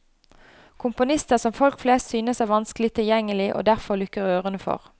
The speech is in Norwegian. Komponister som folk flest synes er vanskelig tilgjengelig og derfor lukker ørene for.